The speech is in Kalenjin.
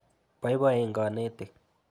Poipoen kanetik.